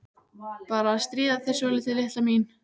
Bara að stríða þér svolítið, litla mín.